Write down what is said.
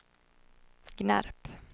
Gnarp